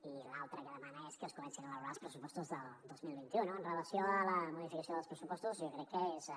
i l’altra que demana que es comencin a elaborar els pressupostos del dos mil vint u no amb relació a la modificació dels pressupostos jo crec que és de